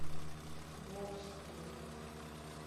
волжскому